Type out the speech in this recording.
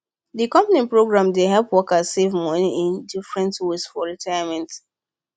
the company program dey help workers save money in different ways for retirement